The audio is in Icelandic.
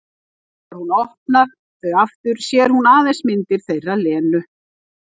Þegar hún opnar þau aftur sér hún aðeins myndir þeirra Lenu.